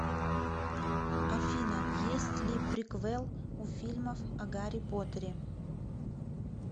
афина есть ли приквел у фильмов о гарри поттере